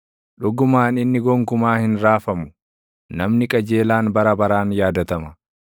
Dhugumaan inni gonkumaa hin raafamu; namni qajeelaan bara baraan yaadatama.